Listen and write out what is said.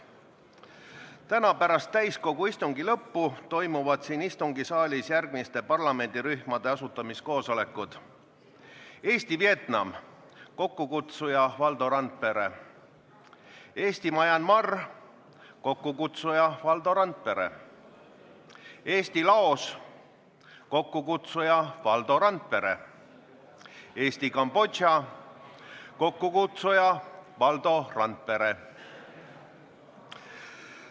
Täna pärast täiskogu istungi lõppu toimuvad siin istungisaalis järgmiste parlamendirühmade asutamiskoosolekud: Eesti-Vietnami parlamendirühm, kokkukutsuja on Valdo Randpere; Eesti-Myanmari parlamendirühm, kokkukutsuja on Valdo Randpere; Eesti-Laose parlamendirühm, kokkukutsuja on Valdo Randpere; Eesti-Kambodža parlamendirühm, kokkukutsuja on Valdo Randpere.